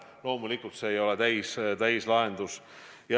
Loomulikult see ei ole täielik lahendus.